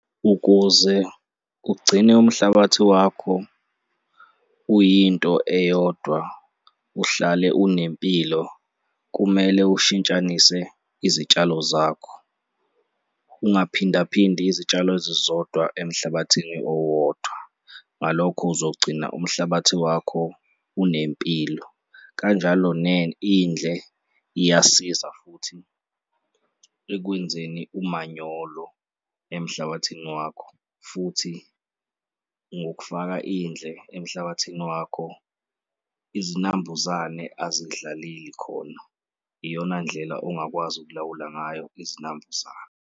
Ukuze ugcine umhlabathi wakho uyinto eyodwa, uhlale unempilo, kumele ushintshanise izitshalo zakho, ungaphindaphindi izitshalo ezizodwa emhlabathini owodwa. Ngalokho, uzogcina umhlabathi wakho unempilo kanjalo indle iyasiza futhi ekwenzeni umanyolo emhlabathini wakho futhi ngokufaka indle emhlabathini wakho, izinambuzane azidlaleli khona, iyona ndlela ongakwazi ukulawula ngayo izinambuzane.